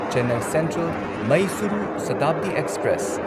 Chennai central Mysuru Shatabdi express